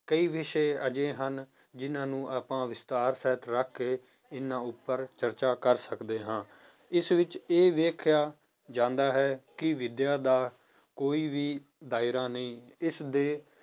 ਕਈ ਵਿਸ਼ੇ ਅਜਿਹੇ ਹਨ, ਜਿੰਨਾਂ ਨੂੰ ਆਪਾਂ ਵਿਸਥਾਰ ਸਹਿਤ ਰੱਖ ਕੇ ਇਹਨਾਂ ਉੱਪਰ ਚਰਚਾ ਕਰ ਸਕਦੇ ਹਾਂ, ਇਸ ਵਿੱਚ ਇਹ ਵੇਖਿਆ ਜਾਂਦਾ ਹੈ ਕਿ ਵਿਦਿਆ ਦਾ ਕੋਈ ਵੀ ਦਾਇਰਾ ਨਹੀਂ ਇਸਦੇ